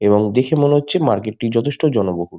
এবং দেখে মনে হচ্ছে মার্কেট টি যথেষ্ট জনবহুল ।